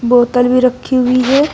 बोतल भी रखी हुई है।